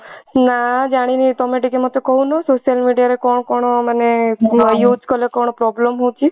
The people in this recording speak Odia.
ନା ଜାଣିନି ତମେ ଟିକେ ମତେ କହୁନ social media ରେ କଣ କଣ ମାନେ use କଲେ ମାନେ କଣ problem ହଉଛି